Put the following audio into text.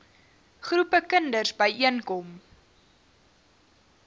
groepe kinders byeenkom